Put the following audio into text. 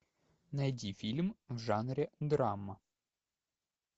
найди фильм в жанре драма